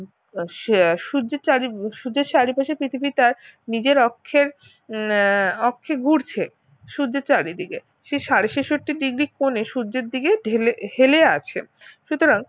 সূর্যের চারি সূর্যের চারিপাশে পৃথিবী তার নিজের অক্ষের উহ অক্ষে ঘুরছে সূর্যের চারিদিকে সেই সাড়ে ছেষট্টি degree কোণে সূর্যের দিকে ঢেলে হেলে আছে সুতরাং